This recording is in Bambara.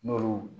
N'olu